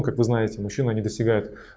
как вы знаете мужчина не достигает